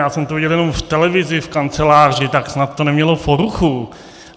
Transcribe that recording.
Já jsem to viděl jenom v televizi v kanceláři, tak snad to nemělo poruchu.